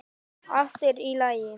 Allt er í lagi.